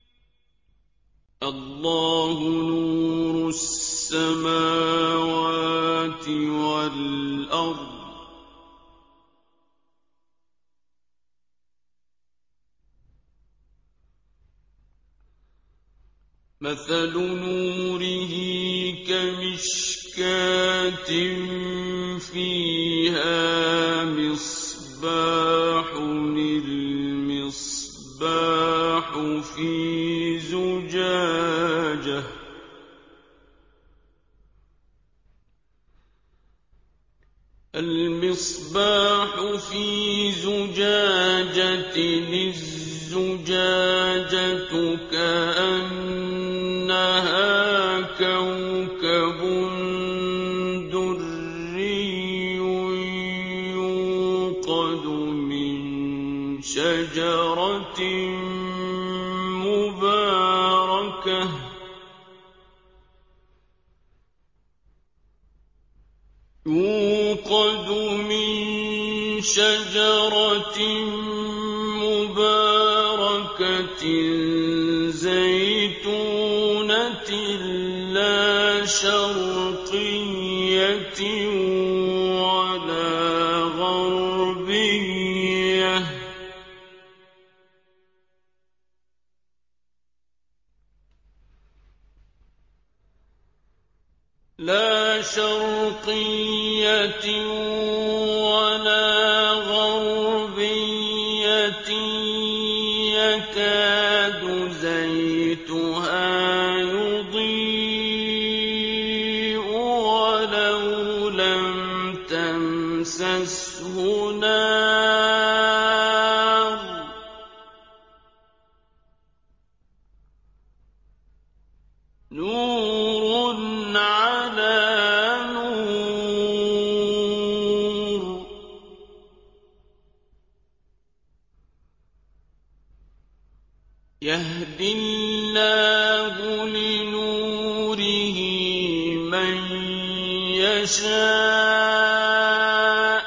۞ اللَّهُ نُورُ السَّمَاوَاتِ وَالْأَرْضِ ۚ مَثَلُ نُورِهِ كَمِشْكَاةٍ فِيهَا مِصْبَاحٌ ۖ الْمِصْبَاحُ فِي زُجَاجَةٍ ۖ الزُّجَاجَةُ كَأَنَّهَا كَوْكَبٌ دُرِّيٌّ يُوقَدُ مِن شَجَرَةٍ مُّبَارَكَةٍ زَيْتُونَةٍ لَّا شَرْقِيَّةٍ وَلَا غَرْبِيَّةٍ يَكَادُ زَيْتُهَا يُضِيءُ وَلَوْ لَمْ تَمْسَسْهُ نَارٌ ۚ نُّورٌ عَلَىٰ نُورٍ ۗ يَهْدِي اللَّهُ لِنُورِهِ مَن يَشَاءُ ۚ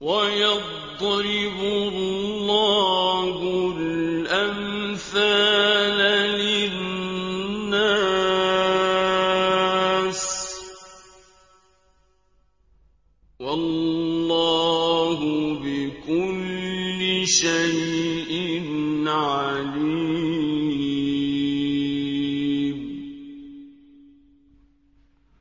وَيَضْرِبُ اللَّهُ الْأَمْثَالَ لِلنَّاسِ ۗ وَاللَّهُ بِكُلِّ شَيْءٍ عَلِيمٌ